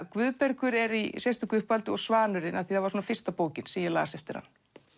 Guðbergur er í sérstöku uppáhaldi og Svanurinn af því það var fyrsta bókin sem ég las eftir hann